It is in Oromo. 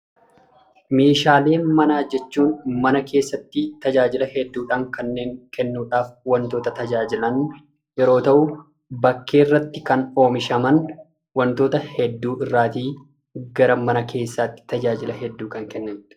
Meeshaalee manaa jechuun mana keessatti tajaajila hedduu kennuudhaan waantota tajaajilan yeroo ta'u, bakkee irratti kan oomishaman, waantota hedduu irraatii gara mana keessaatti tajaajila hedduu kennanidhaa.